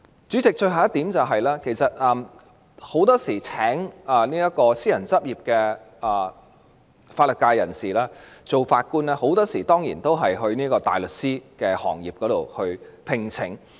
主席，最後一點，司法機關聘請私人執業的法律界人士擔任法官時，很多時候都是從大律師行業中聘請。